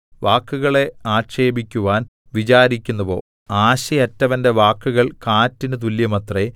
വാക്കുകളെ ആക്ഷേപിക്കുവാൻ വിചാരിക്കുന്നുവോ ആശയറ്റവന്റെ വാക്കുകൾ കാറ്റിന് തുല്യമത്രേ